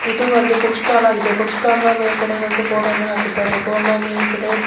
ಇದು ಒಂದು book stall ಆಗಿದೆ ಬುಕ್ ಸ್ಟಾಲ್ ಮೇಲ್ಗಡೆ ಒಂದು ಬೋರ್ಡ್ ಅನ್ನು ಹಾಕಿದ್ದಾರೆ ಬೋರ್ಡ್ ನ ಮೇಲ್ಗಡೆ--